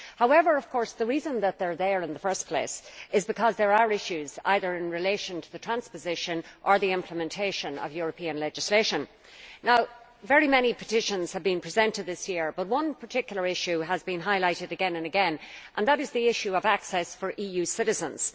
However, the reason that they are there in first place is because there are issues in relation to either the transposition or the implementation of European legislation. Many petitions have been presented this year but one particular issue has been highlighted again and again, and that is the issue of access for EU citizens.